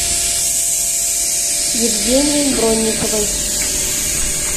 евгением бронниковым